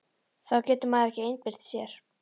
Þá getur maður ekki einbeitt sér!